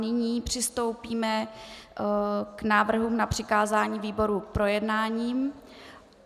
Nyní přistoupíme k návrhům na přikázání výborům k projednání.